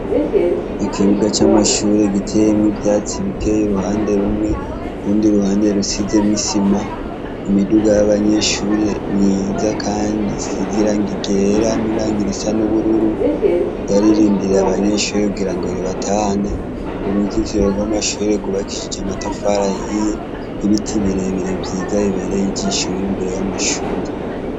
Ikibuga c'amashuri giteyemwe ivyatsi bikeye ruhande rumwe rundi ruhande rusize misima imiduga y'abanyeshuri myiza, kandi sizira ngo igera n'irangir isa n'ubururu ryaririndirira abanyenshuri kugira ngo ribatane uruziziro rw'mashure gubakishije amatafarayiya ye ibiti birebire vyiza bibereye ijishori imbere y'amashuri.